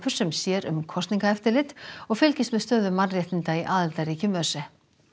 sem sér um kosningaeftirlit og fylgist með stöðu mannréttinda í aðildarríkjum ÖSE